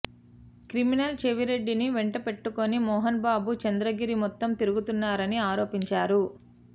criminal చెవిరెడ్డిని వెంట పెట్టుకొని మోహన్బాబు చంద్రగిరి మొత్తం తిరుగుతున్నారని ఆరోపించారు